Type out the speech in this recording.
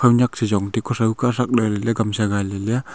nak sejong te kusao kasak lele kamse ngai lele a.